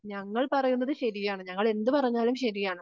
ഞങ്ങൾ പറയുന്നത് ശരിയാണ് ഞങ്ങൾ എന്തു പറഞ്ഞാലും ശരിയാണ്.